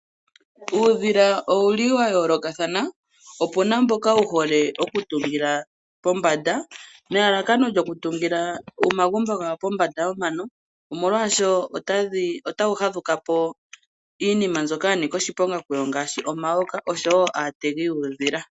Uudhila owuli wa yoolokathana. Opuna mboka wuhole okutungila pombanda, nelalakano lyokutungila omagumbo gawo pombanda yomano, molwaashono otawu fadhukapo iinima mbyoka yanika oshiponga kuwo ngaashi, omayoka, noshowo aategi yuudhila.